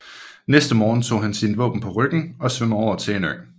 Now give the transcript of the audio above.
Næste morgen tog han sine våben på ryggen og svømmede over til en ø